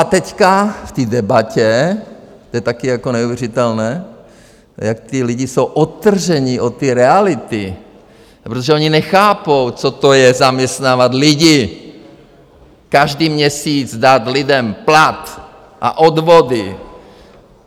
A teď v té debatě, to je také jako neuvěřitelné, jak ti lidé jsou odtrženi od té reality, protože oni nechápou, co to je zaměstnávat lidi, každý měsíc dát lidem plat a odvody.